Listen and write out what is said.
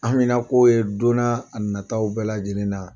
An haminanko ye donna nataw bɛɛ lajɛlen na